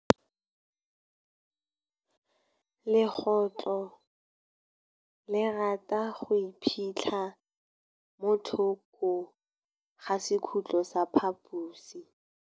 Legôtlô le rata go iphitlha mo thokô ga sekhutlo sa phaposi.